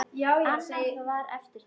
Annað var eftir þessu.